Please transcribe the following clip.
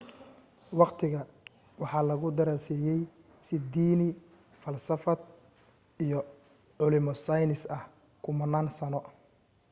waqtiga waxaa lagu daraseyey si diini falsafad iyo culimo saynis ah kumanan sano